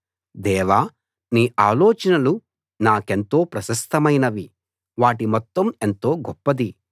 దేవా నీ ఆలోచనలు నాకెంతో ప్రశస్తమైనవి వాటి మొత్తం ఎంతో గొప్పది